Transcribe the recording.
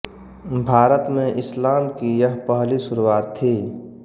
भारत में इस्लाम की यह पहली शुरुआत थी